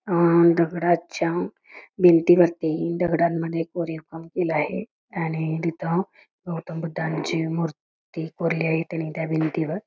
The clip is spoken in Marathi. दगडाच्या भिंतींवरती दगडांमध्ये कोरीवकाम केलेलं आहे आणि तिथं गौतम बुद्धांची मूर्ती कोरलेली आहे त्या भिंतीवर--